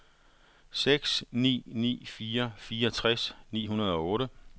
seks ni ni fire fireogtres ni hundrede og otte